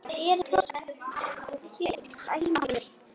Jæja þá, segir hún.